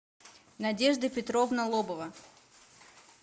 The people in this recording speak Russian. надежда петровна лобова